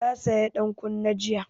Ta saya dan kunne jiya